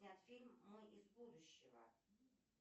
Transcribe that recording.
снят фильм мы из будущего